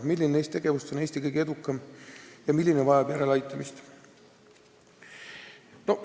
Milline neist tegevustest on Eestis kõige edukam ja milline vajab järeleaitamist?